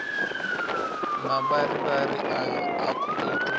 mavharivhari ayo a khou itwa